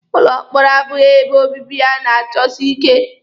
Ụlọ mkpọrọ abụghị ebe obibi a na-achọsi ike.